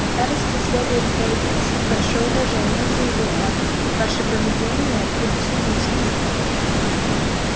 к старосте следует проявить большее уважение заявил он ваше поведение предосудительно